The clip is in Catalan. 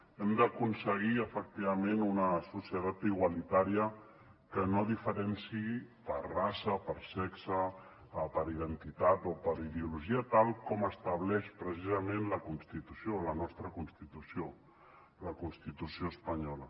hem d’aconseguir efectivament una societat igualitària que no diferenciï per raça per sexe per identitat o per ideologia tal com estableix precisament la constitució la nostra constitució la constitució espanyola